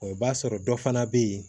Ɔ i b'a sɔrɔ dɔ fana bɛ yen